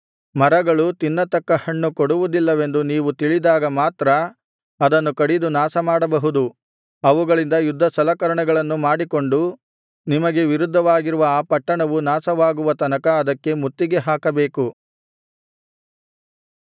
ಮರಗಳು ತಿನ್ನತಕ್ಕ ಹಣ್ಣು ಕೊಡುವುದಿಲ್ಲವೆಂದು ನೀವು ತಿಳಿದಾಗ ಮಾತ್ರ ಅದನ್ನು ಕಡಿದು ನಾಶಮಾಡಬಹುದು ಅವುಗಳಿಂದ ಯುದ್ಧಸಲಕರಣೆಗಳನ್ನು ಮಾಡಿಕೊಂಡು ನಿಮಗೆ ವಿರುದ್ಧವಾಗಿರುವ ಆ ಪಟ್ಟಣವು ನಾಶವಾಗುವ ತನಕ ಅದಕ್ಕೆ ಮುತ್ತಿಗೆ ಹಾಕಬೇಕು